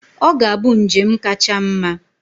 Ọ ga-abụ njem kacha mma.